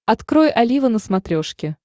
открой олива на смотрешке